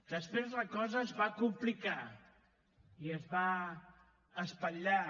després la cosa es va complicar i es va espatllar